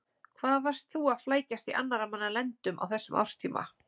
Hvað varst þú að flækjast í annarra manna lendum á þessum árstíma?